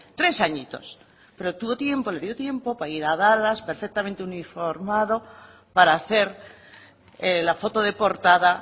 tres añitos pero le dio tiempo para ir a dallas perfectamente uniformado para hacer la foto de portada